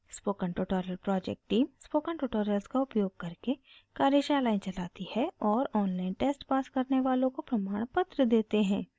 spoken tutorial project team: